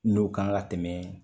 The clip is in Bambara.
N'o kan ka tɛmɛ